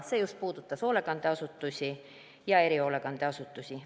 See puudutas just hoolekandeasutusi ja erihoolekandeasutusi.